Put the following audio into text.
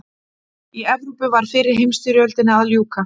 Í Evrópu var fyrri heimsstyrjöldinni að ljúka.